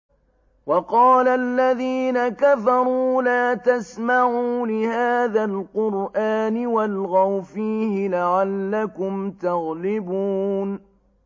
وَقَالَ الَّذِينَ كَفَرُوا لَا تَسْمَعُوا لِهَٰذَا الْقُرْآنِ وَالْغَوْا فِيهِ لَعَلَّكُمْ تَغْلِبُونَ